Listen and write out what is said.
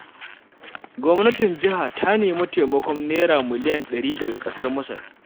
Gwamnatin jiha ta nemi taimakon Naira miliyan 100 daga ƙasar Masar.